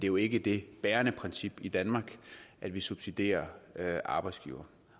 jo ikke det bærende princip i danmark at vi subsidierer arbejdsgivere